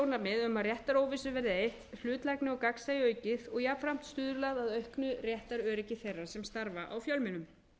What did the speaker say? um að réttaróvissu verði eytt hlutlægi og gagnsæi aukin og jafnframt stuðlað að auknu réttaröryggi átta nýrra sem starfa á fjölmiðlum